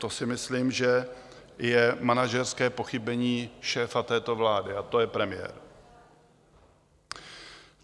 To si myslím, že je manažerské pochybení šéfa této vlády, a to je premiér.